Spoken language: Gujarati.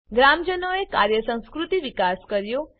ગ્રામજનોએ કાર્ય સંસ્કૃતિ વિકાસ કર્યો